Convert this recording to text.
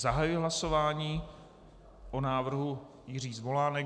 Zahajuji hlasování o návrhu Jiří Zvolánek.